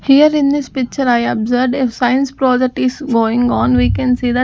here in this picture i observed a science project is going on we can see that--